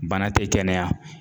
Bana tɛ kɛnɛya.